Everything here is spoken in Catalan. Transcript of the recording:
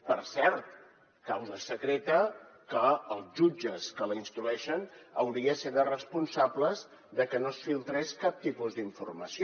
per cert causa secreta que els jutges que la instrueixen haurien de ser responsables de que no es filtrés cap tipus d’informació